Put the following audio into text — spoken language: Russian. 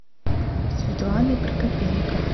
светланой прокопенко